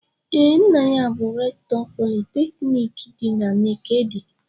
Ee, nna ya bụ rektọ politekniki dị na Nekede.